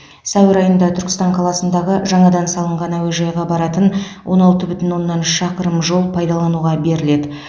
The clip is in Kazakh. сәуір айында түркістан қаласындағы жаңадан салынған әуежайға баратын он алты бүтін оннан үш шақырым жол пайдалануға беріледі